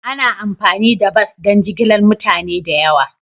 Ana amfani da bas don jigilar mutane da yawa.